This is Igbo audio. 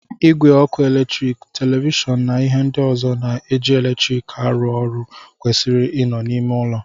Ìgwè oku eletrik, televishọọnụ na ihe ndị ọzọ na-eji eletrik arụ ọrụ kwesịrị ị nọ n'ime ụlọ.